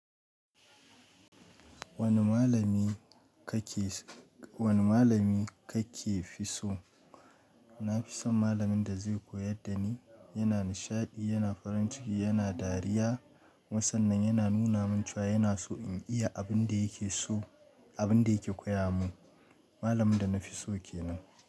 Wani malami kake, wani malami kake fi so? Na fi son malamin da zai koyar da ni. Yana nishaɗi, yana farin ciki, yana dariya. Kuma sannan yana nuna min cewa yana so in iya abin da yake so, abin da yake koya mun. Malamin da na fi so ke nan.